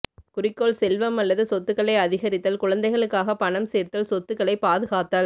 குறிக்கோள் செல்வம் அல்லது சொத்துகளை அதிகரித்தல் குழந்தைகளுக்காக பணம் சேர்த்தல் சொத்துகளை பாதுகாத்தல்